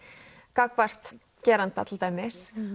gagnvart geranda til dæmis